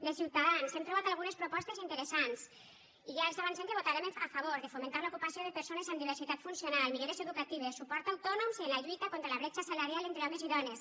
de ciutadans hem trobat algunes propostes interessants i ja els avancem que votarem a favor de fomentar l’ocupació de persones amb diversitat funcional millores educatives suport a autònoms i en la lluita contra la bretxa salarial entre homes i dones